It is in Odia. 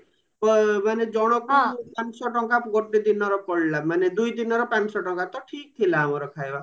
ମାନେ ଜଣଙ୍କୁ ପାଞ୍ଚଶହ ଟଙ୍କା ଗୋଟେ ଦିନର ପଡିଲା ମାନେ ଦୁଇ ଦିନର ପାଞ୍ଚଶହ ଟଙ୍କା ତ ଠିକ ଥିଲା ଆମର ଖାଇବା